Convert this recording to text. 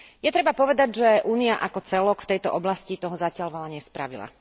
Treba povedať, že Únia ako celok v tejto oblasti toho zatiaľ veľa nespravila.